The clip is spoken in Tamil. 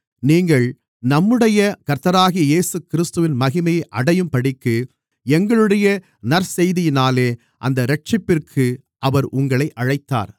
நீங்கள் நம்முடைய கர்த்தராகிய இயேசுகிறிஸ்துவின் மகிமையை அடையும்படிக்கு எங்களுடைய நற்செய்தியினாலே அந்த இரட்சிப்பிற்கு அவர் உங்களை அழைத்தார்